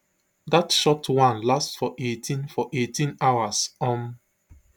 dat short one last for eighteen for eighteen hours um